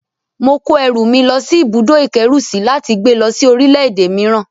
Mo kó ẹrù mi lọ́ ibùdó-ìkẹ́rùsí láti gbé lọ́ sí orílẹ̀-èdè mìíràn